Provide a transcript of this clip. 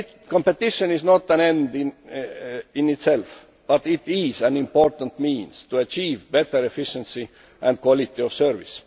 Competition is not an end in itself, but it is an important means to achieve better efficiency and quality of service.